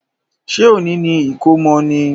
Ṣé òní ni ìkómọ ni?